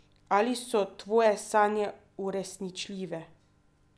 Ali so tvoje sanje uresničljive?